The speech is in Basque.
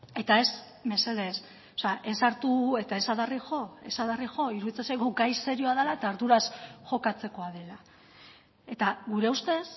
eta ez mesedez ez hartu eta ez adarri jo ez adarri jo iruditzen zaigu gai serioa dela eta arduraz jokatzekoa dela eta gure ustez